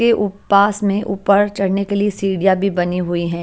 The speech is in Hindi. के उप पास में ऊपर चढने के लिए सीढ़ियाँ भी बनी हुई हैं।